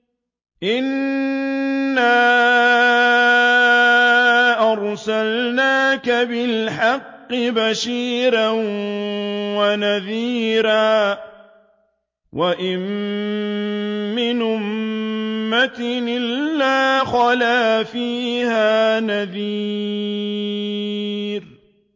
إِنَّا أَرْسَلْنَاكَ بِالْحَقِّ بَشِيرًا وَنَذِيرًا ۚ وَإِن مِّنْ أُمَّةٍ إِلَّا خَلَا فِيهَا نَذِيرٌ